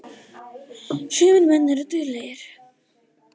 Sumir menn eru dauðlegir.